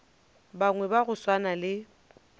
bangwe ba go swana le